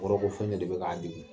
Kɔrɔ ko fɛn do de bɛ k'a dimi.